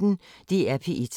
DR P1